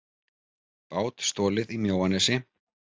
Bát stolið í Mjóanesi